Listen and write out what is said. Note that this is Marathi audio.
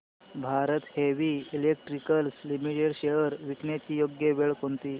Bharat Heavy Electricals Limited shares विकण्याची योग्य वेळ कोणती